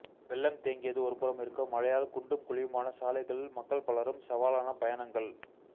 வெள்ளம் தேங்கியது ஒருபுறம் இருக்க மழையால் குண்டும் குழியுமான சாலைகளில் மக்கள் பலரும் சவாலான பயணங்கள்